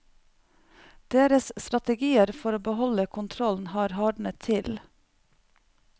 Deres strategier for å beholde kontrollen har hardnet til.